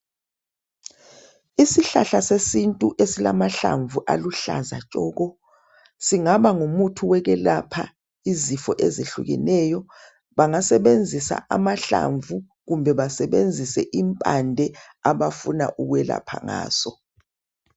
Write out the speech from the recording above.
Isihlahla sesintu esilamahlamvu aluhlaza tshoko, singaba ngumuthi wokwelapha izifo ezehlukeneyo, bangasebenzisa amahlamvu kumbe basebenzise impande abafuna ukwelapha ngazo .